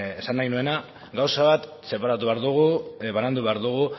esan nahi nuena gauza bat separatu behar dugu banandu behar dugu